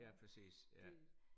Ja præcis ja